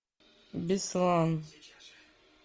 беслан